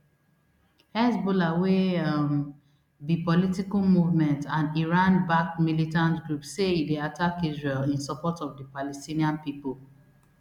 hezbollah wey um be political movement and iranbacked militant group say e dey attack israel in support of di palestinian pipo